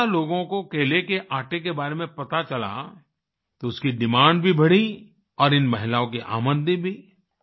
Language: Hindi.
जब ज्यादा लोगों को केले के आटे के बारे में पता चला तो उसकी डिमांड भी बढ़ी और इन महिलाओं की आमदनी भी